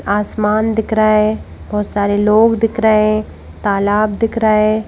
आसमान दिख रहा है बहुत सारे लोग दिख रहे हैं तालाब दिख रहा है।